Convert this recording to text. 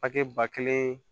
Pake ba kelen